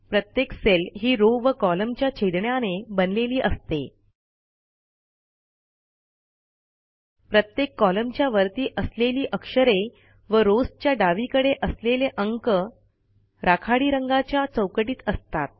प्रत्येक सेल ही रॉव व कोलम्न च्या छेदण्याने बनलेली असते प्रत्येक कॉलमच्या वरती असलेली अक्षरे व रॉव्स च्या डावीकडे असलेले अंक राखाडी रंगाच्या चौकटीत असतात